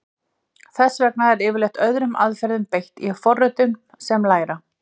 Þess vegna er yfirleitt öðrum aðferðum beitt í forritum sem læra.